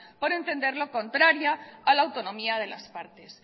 por entenderlo contraria a la autonomía de las partes